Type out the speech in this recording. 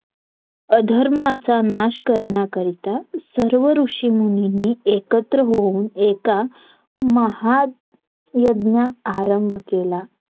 अधर्माचा नाश करण्याकरिता सर्व ऋषीमुनींनी एकत्र होऊन एका महायज्ञा आरंभ केला